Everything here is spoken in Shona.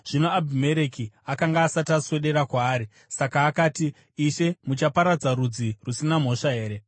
Zvino Abhimereki akanga asati aswedera kwaari, saka akati, “Ishe, muchaparadza rudzi rusina mhosva here?